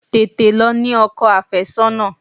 Tètè lọ ní ọkọ àfẹ́sọ́nà!